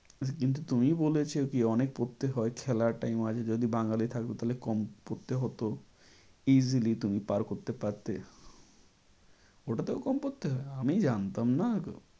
কিন্তু তুমিই বলেছো কি অনেক পড়তে হয় খেলার time আছে যদি বাঙালি থাকতো তাহলে কম পড়তে হতো। easily তুমি পার করতে পারতে। ওটাতেও কম পড়তে হয়? আমি জানতাম না